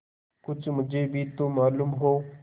कुछ मुझे भी तो मालूम हो